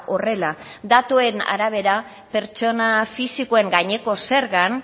horrela datuen arabera pertsona fisikoen gaineko zergan